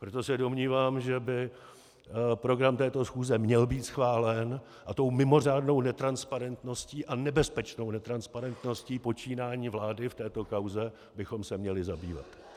Proto se domnívám, že by program této schůze měl být schválen a tou mimořádnou netransparentností a nebezpečnou netransparentností počínání vlády v této kauze bychom se měli zabývat.